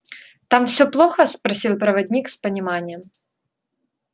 там всё плохо спросил проводник с пониманием